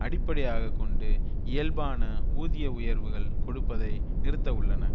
அடிப்படையாக கொண்டு இயல்பான ஊதிய உயர்வுகள் கொடுப்பதை நிறுத்த உள்ளன